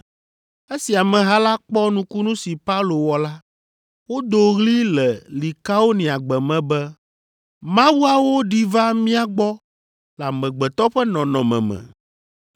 Esi ameha la kpɔ nukunu si Paulo wɔ la, wodo ɣli le Likaoniagbe me be “Mawuawo ɖi va mía gbɔ le amegbetɔ ƒe nɔnɔme me!”